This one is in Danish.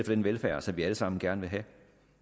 den velfærd som vi alle sammen gerne vil have